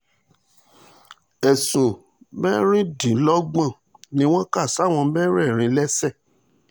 ẹ̀sùn mẹ́rìndínlọ́gbọ̀n ni wọ́n kà sáwọn mẹ́rẹ̀ẹ̀rin sáwọn mẹ́rẹ̀ẹ̀rin lẹ́sẹ̀